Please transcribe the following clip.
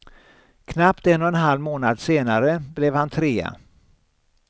Knappt en och en halv månad senare blev han trea.